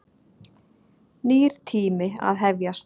Nýr tími að hefjast.